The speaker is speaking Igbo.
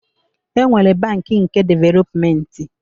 E nwere bankị nke developmenti